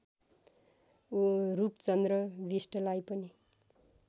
रूपचन्द्र बिष्टलाई पनि